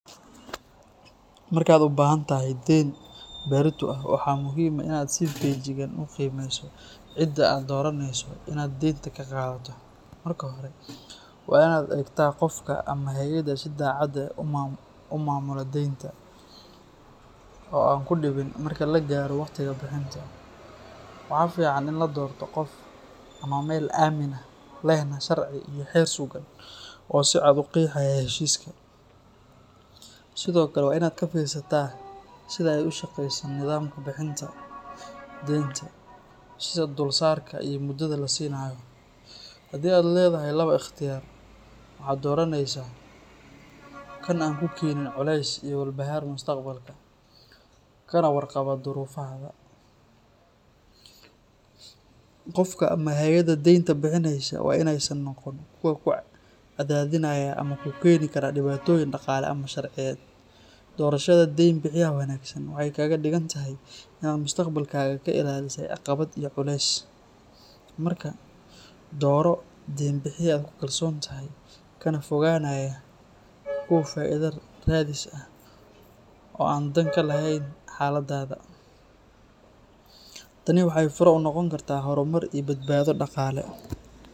Markaad u baahantahay deyn, berrito ah, waxaa muhiim ah inaad si feejigan u qiimeyso cidda aad dooraneyso inaad deynta ka qaadato. Marka hore, waa inaad eegtaa qofka ama hay’adda si daacad ah u maamula deynta, oo aan ku dhibin marka la gaaro waqtiga bixinta. Waxaa fiican in la doorto qof ama meel aamin ah, lehna sharci iyo xeer sugan oo si cad u qeexaya heshiiska. Sidoo kale, waa inaad ka fiirsataa sida ay u shaqeyso nidaamka bixinta deynta, sida dulsaarka iyo muddada la siinayo. Haddii aad leedahay laba ikhtiyaar, waxaad dooraneysaa kan aan kuu keeneynin culays iyo walbahaar mustaqbalka, kana warqaba duruufahaada. Qofka ama hay’adda deynta bixineysa waa inaysan noqon kuwo ku cadaadinaya ama kuu keeni kara dhibaatooyin dhaqaale ama sharciyeed. Doorashada deyn bixiyaha wanaagsan waxay kaaga dhigan tahay inaad mustaqbalkaaga ka ilaalisay caqabad iyo culeys. Marka, dooro deyn bixiye aad ku kalsoon tahay, kana fogaanaya kuwo faaiido raadis ah oo aan dan ka lahayn xaaladdaada. Tani waxay fure u noqon kartaa horumar iyo badbaado dhaqaale.